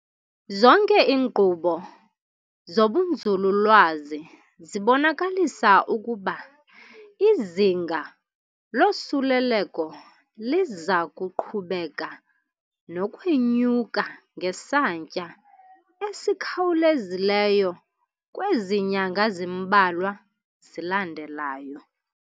Zonke iinkqubo zobunzululwazi zibonakalisa ukuba izinga losuleleko liza kuqhubeka nokwenyuka ngesantya esikhawulezileyo kwezi nyanga zimbalwa zilandelayo.